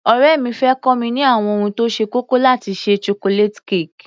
Ọ̀rẹ́ mi fẹ́ kọ́ mi ní àwọn ohun tó ṣe kókó láti ṣe Chocolate cake.